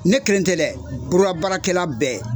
Ne kelen tɛ dɛ, bolola baarakɛla bɛɛ.